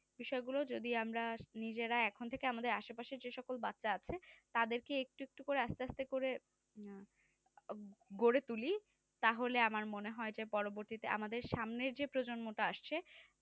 বিষয়গুলো যদি আমরা নিজেরা এখন থেকে আমাদের আশেপাশে যে সকল বাচ্চা আছে তাদেরকে একটু একটু করে আস্তে আস্তে করে গড়ে তুলি তাহলে আমরা মনে হয় যে পরবর্তীতে আমাদের সামনের যে প্রজন্মটা আসছে